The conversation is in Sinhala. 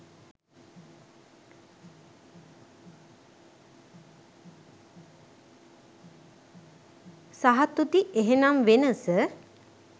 සහතුති එහෙනම් වෙනස?